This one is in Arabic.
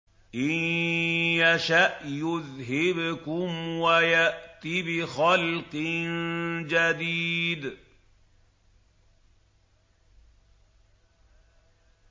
إِن يَشَأْ يُذْهِبْكُمْ وَيَأْتِ بِخَلْقٍ جَدِيدٍ